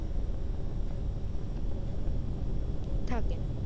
থাকেন